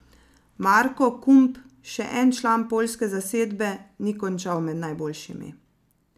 Marko Kump, še en član poljske zasedbe, ni končal med najboljšimi.